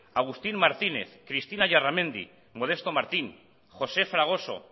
agustín martínez cristina illarramendi modesto martín josé fragoso